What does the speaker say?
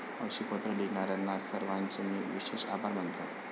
अशी पत्र लिहिणाऱ्या सर्वांचे मी विशेष आभार मानतो.